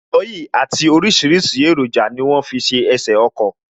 Aloyi àti orisirisi eroja ni wọ́n fi ṣe ẹsè ọkọ̀